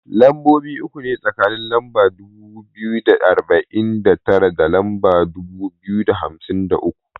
Lambobi uku ne tsakanin lamba dubu biyu da arba'in da tara da lamba dubu biyu da hamsin da uku.